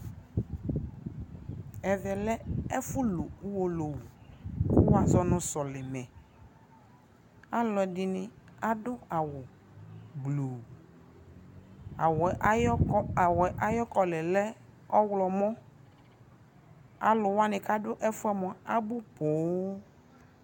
ɛvɛ lɛ ɛƒʋ lʋ ɔwɔlɔwʋ kʋ wazɔnʋ sɔlimɛ, alʋɛdini adʋ awʋgblɔɔ, awʋɛ ayi adava collarɛ lɛ ɔwlɔmʋ, alʋ wa kʋ adʋ ɛƒʋɛ mʋa abʋ pɔɔm